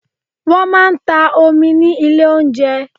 Wọ́n máa ń ta omi ní ilé oúnjẹ.